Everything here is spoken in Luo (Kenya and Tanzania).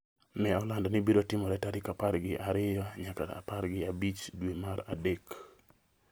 ne olando ni biro timore tarik apar gi ariyo nyaka apar gi abich dwe mar adek